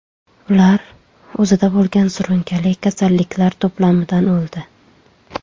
Ular o‘zida bo‘lgan surunkali kasalliklar to‘plamidan o‘ldi.